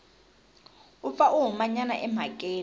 u pfa a humanyana emhakeni